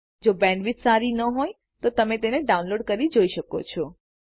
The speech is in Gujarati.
જો બેન્ડવિથ સારી ના હોય તો તમે તેને ડાઉનલોડ કરી જોઈ શકો છો